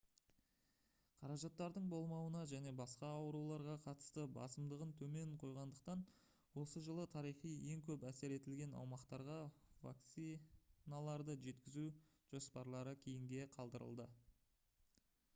қаражаттардың болмауына және басқа ауруларға қатысты басымдығын төмен қойғандықтан осы жылы тарихи ең көп әсер етілген аумақтарға вакциналарды жеткізу жоспарлары кейінге қалдырылды